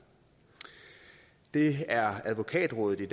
det er advokatrådet i